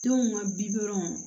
Denw ka bi kɔrɔ